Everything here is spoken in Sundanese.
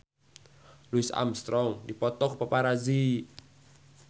Louis Armstrong dipoto ku paparazi